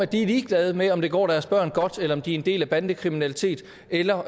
de er ligeglade med om det går deres børn godt eller om de er en del af bandekriminaliteten eller